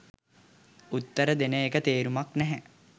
උත්තර දෙන එක තේරුමක් නැහැ.